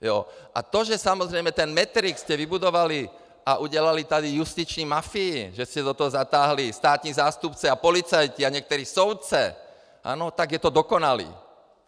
A to, že samozřejmě ten Matrix jste vybudovali a udělali tady justiční mafii, že jste do toho zatáhli státní zástupce a policajty a některé soudce, ano, tak je to dokonalé!